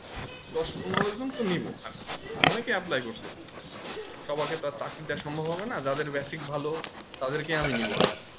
দশ পনেরো জনতো নিবো আর কি অনেককে apply করছে সবাইকে আর চাকরি দেবা সম্ভব হবে না যাদের basic ভালো তাদের কে আমি নিবো আর কি